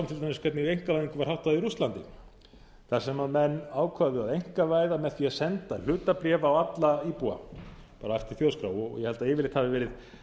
hvernig einkavæðingin er háttað í rússlandi þar sem menn ákváðu að einkavæða með því að senda hlutabréf á alla íbúa bara eftir þjóðskrá og ég held að yfirleitt hafi verið